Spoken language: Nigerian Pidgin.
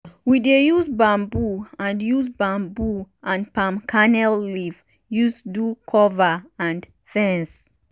we dey use bamboo and use bamboo and palm kernel leaf use do cover and fence.